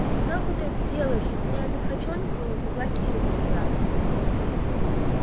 нахуй ты это делаешь если меня этот хачёнок заблокирует опять